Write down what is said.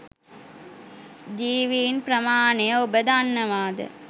ජීවින් ප්‍රමාණය ඔබ දන්නවාද?